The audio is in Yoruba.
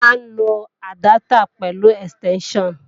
A máa ń lo àdáptà pẹ̀lú ẹ̀stẹ́ńṣàn